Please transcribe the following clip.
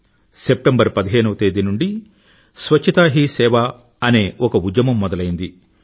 September పదిహేను నుండీ పరిశుభ్రతే సేవ అనే ఒక ఉద్యమం మొదలైంది